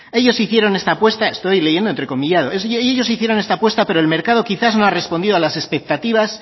ellos hicieron esta apuesta estoy leyendo entrecomillado y ellos hicieron esta apuesta pero el mercado quizás no ha respondido a las expectativas